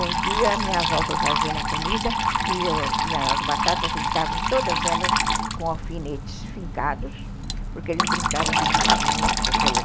Um dia minha avó foi fazer uma comida e eu tinha as batatas, eles estavam todas elas com alfinetes fincados, porque eles brincavam de bichinhos com aquelas...